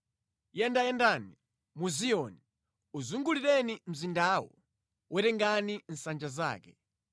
Yendayendani mu Ziyoni, uzungulireni mzindawo, werengani nsanja zake.